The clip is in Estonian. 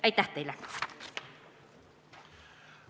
Aitäh teile!